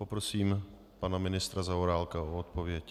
Poprosím pana ministra Zaorálka o odpověď.